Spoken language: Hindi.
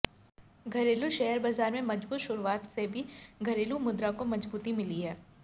घरेलू शेयर बाजार में मजबूत शुरुआत से भी घरेलू मुद्रा को मजबूती मिली है